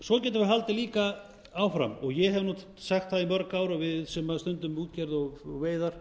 svo getum við haldið líka áfram og ég hef nú sagt það í mörg ár og við sem stundum útgerð og veiðar